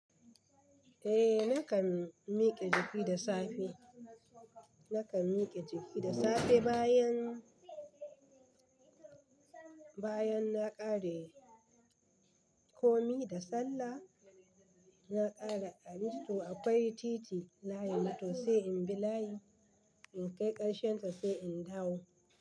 Eh nakan mike jiki da safe, nakan mike jiki da safe bayan, bayan na ƙare komi da sallah, na ƙara amito akwai titi layi mu to sai in bi layi in kai ƙarshen ta sai in dawo.